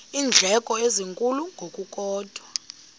iindleko ezinkulu ngokukodwa